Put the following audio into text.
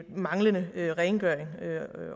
manglende rengøring